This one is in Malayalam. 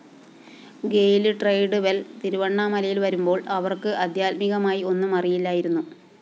ഗെയ്‌ല്‌ ട്രെഡ്‌വെല്‍ തിരുവണ്ണാമലയില്‍ വരുമ്പോള്‍ അവര്‍ക്ക്‌ ആദ്ധ്യാത്മികമായി ഒന്നും അറിയില്ലായിരുന്നു